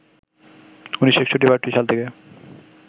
১৯৬১-৬২ সাল থেকে